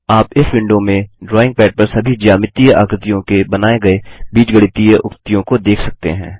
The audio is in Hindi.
आप इस विंडो में ड्रॉइंग पैड पर सभी ज्यामितीय आकृतियों के बनाए गए बीजगणितीय उक्तियों को देख सकते हैं